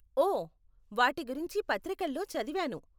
ఓ, వాటి గురించి పత్రికల్లో చదివాను.